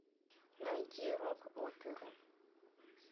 найди рок оперу